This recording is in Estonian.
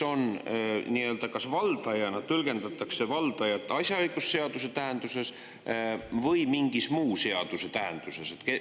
Ja teiseks, kas valdajana tõlgendatakse valdajat asjaõigusseaduse tähenduses või mingi muu seaduse tähenduses?